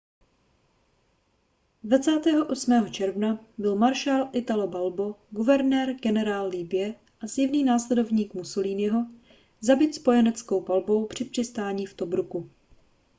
28. června byl maršál italo balbo guvernér-generál libye a zjevný následovník mussoliniho zabit spojeneckou palbou při přistání v tobruku